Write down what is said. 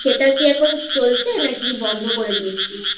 সেটা কি এখন চলছে নাকি বন্ধ করে দিয়েছিস?